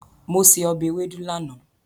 Mo se ọbẹ̀ ewédú lánàá.